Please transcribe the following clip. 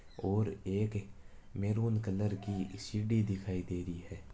और एक maroon colour की सीडी दिखाई दे रही है।